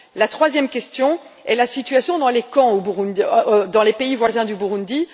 La troisième question concerne la situation dans les camps dans les pays voisins du Burundi.